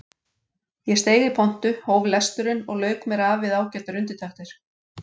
Ég steig í pontu, hóf lesturinn og lauk mér af við ágætar undirtektir.